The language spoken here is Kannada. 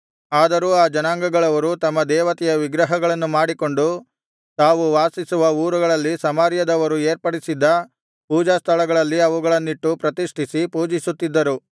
ಆದರೂ ಆ ಜನಾಂಗಗಳವರು ತಮ್ಮ ದೇವತೆಯ ವಿಗ್ರಹಗಳನ್ನು ಮಾಡಿಕೊಂಡು ತಾವು ವಾಸಿಸುವ ಊರುಗಳಲ್ಲಿ ಸಮಾರ್ಯದವರು ಏರ್ಪಡಿಸಿದ್ದ ಪೂಜಾಸ್ಥಳಗಳಲ್ಲಿ ಅವುಗಳನ್ನಿಟ್ಟು ಪ್ರತಿಷ್ಠಿಸಿ ಪೂಜಿಸುತ್ತಿದ್ದರು